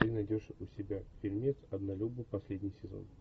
ты найдешь у себя фильмец однолюбы последний сезон